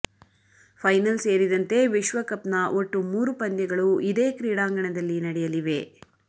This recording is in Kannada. ಫೈನಲ್ ಸೇರಿದಂತೆ ವಿಶ್ವಕಪ್ನ ಒಟ್ಟು ಮೂರು ಪಂದ್ಯಗಳು ಇದೇ ಕ್ರೀಡಾಂಗಣದಲ್ಲಿ ನಡೆಯಲಿವೆ